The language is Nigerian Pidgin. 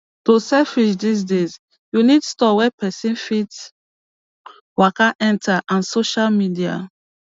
to sell fish these days you need store wey pesin fit waka enter and sosha media